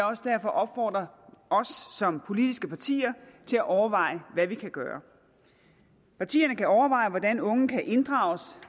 også opfordre os som politiske partier til at overveje hvad vi kan gøre partierne kan overveje hvordan unge kan inddrages